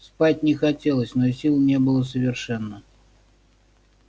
спать не хотелось но сил не было совершенно